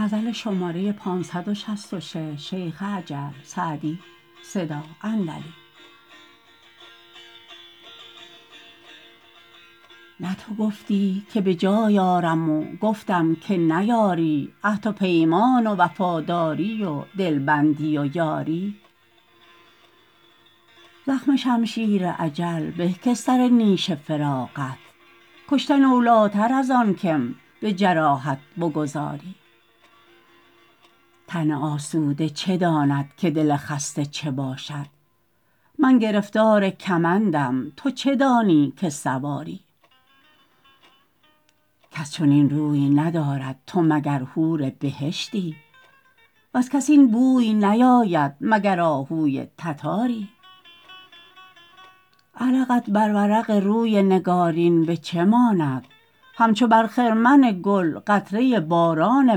نه تو گفتی که به جای آرم و گفتم که نیاری عهد و پیمان و وفاداری و دلبندی و یاری زخم شمشیر اجل به که سر نیش فراقت کشتن اولاتر از آن که م به جراحت بگذاری تن آسوده چه داند که دل خسته چه باشد من گرفتار کمندم تو چه دانی که سواری کس چنین روی ندارد تو مگر حور بهشتی وز کس این بوی نیاید مگر آهوی تتاری عرقت بر ورق روی نگارین به چه ماند همچو بر خرمن گل قطره باران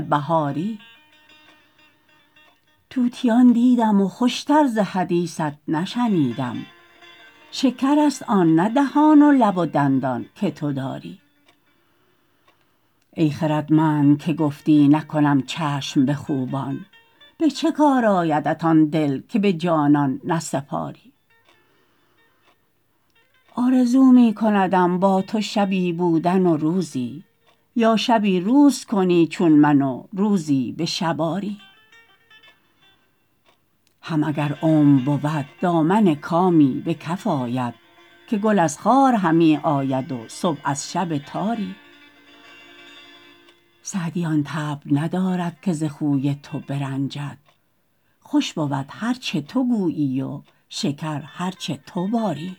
بهاری طوطیان دیدم و خوش تر ز حدیثت نشنیدم شکرست آن نه دهان و لب و دندان که تو داری ای خردمند که گفتی نکنم چشم به خوبان به چه کار آیدت آن دل که به جانان نسپاری آرزو می کندم با تو شبی بودن و روزی یا شبی روز کنی چون من و روزی به شب آری هم اگر عمر بود دامن کامی به کف آید که گل از خار همی آید و صبح از شب تاری سعدی آن طبع ندارد که ز خوی تو برنجد خوش بود هر چه تو گویی و شکر هر چه تو باری